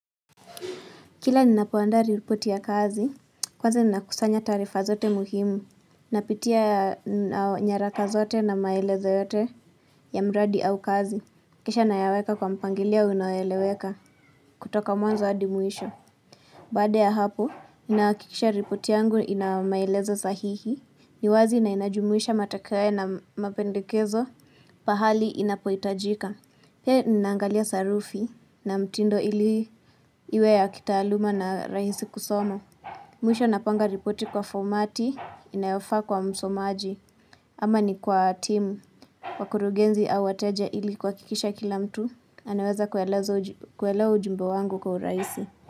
Kila ninapoandaa ripoti ya kazi, kwanza ninakusanya taarifa zote muhimu. Napitia nyaraka zote na maelezo yote ya mradi au kazi. Kisha nayaweka kwa mpangilio unoeleweka kutoka mwanzo adi mwisho. Baada ya hapo, ninahakikisha ripoti yangu inamaelezo sahihi. Ni wazi na inajumuisha matokeo na mapendekezo pahali inapoitajika. Pia nangalia sarufi na mtindo ili iwe ya kitaaluma na rahisi kusoma. Mwisho napanga ripoti kwa fomati inayofaa kwa msomaji. Ama ni kwa team. Wakurugenzi au wateja ili kuhakikisha kila mtu. Anaweza kuelewa ujumbe wangu kwa urahisi.